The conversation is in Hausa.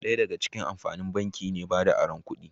Daya daga cikin amfanin banki ne bada aron kudi